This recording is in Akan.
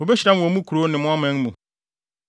Wobehyira mo wɔ mo nkurow ne mo man mu.